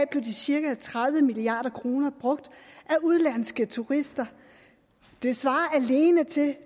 blev de cirka tredive milliard kroner brugt af udenlandske turister det svarer alene til